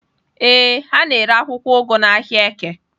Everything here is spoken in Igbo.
Ee, ha na-ere akwụkwọ ugu n'ahịa Eke.